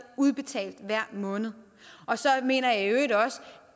udbetalt hver måned så mener jeg i øvrigt også